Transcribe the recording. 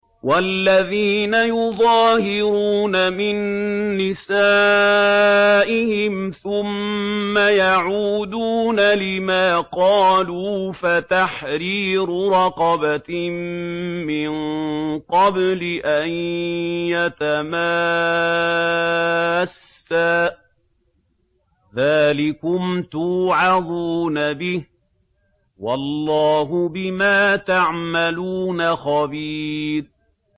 وَالَّذِينَ يُظَاهِرُونَ مِن نِّسَائِهِمْ ثُمَّ يَعُودُونَ لِمَا قَالُوا فَتَحْرِيرُ رَقَبَةٍ مِّن قَبْلِ أَن يَتَمَاسَّا ۚ ذَٰلِكُمْ تُوعَظُونَ بِهِ ۚ وَاللَّهُ بِمَا تَعْمَلُونَ خَبِيرٌ